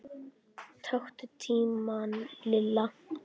Taktu tímann Lilla!